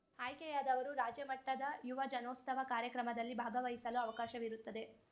ಆಯ್ಕೆಯಾದವರು ರಾಜ್ಯ ಮಟ್ಟದ ಯುವ ಜನೋಸ್ತವ ಕಾರ್ಯಕ್ರಮದಲ್ಲಿ ಭಾಗವಹಿಸಲು ಅವಕಾಶವಿರುತ್ತದೆ